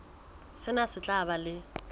sena se tla ba le